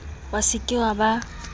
wa se ke wa ba